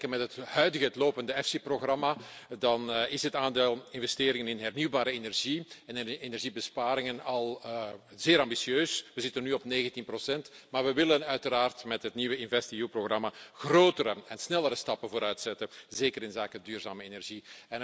Als we vergelijken met het huidige, het lopende EFSI programma, dan is het aandeel investeringen in hernieuwbare energie en energiebesparingen al zeer ambitieus. We zitten nu op 19 maar we willen uiteraard met het nieuwe InvestEU programma grotere en snellere stappen vooruit zetten, zeker op het vlak van duurzame energie.